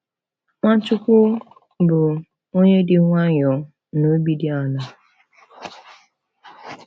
Nwachukwu bụ “onye dị nwayọọ na obi dị ala.”